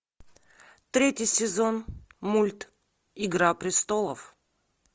третий сезон мульт игра престолов